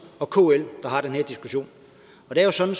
og kl der har den her diskussion og det er jo sådan